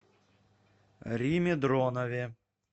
риме дронове